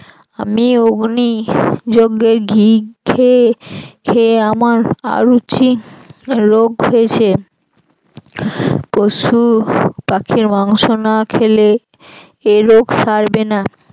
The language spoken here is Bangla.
আমি অগ্নি যজ্ঞের ঘি খেয়ে খেয়ে আমার আরুচি রোগ হয়েছে পশুপাখির মাংস না খেলে এ রোগ সারবে না।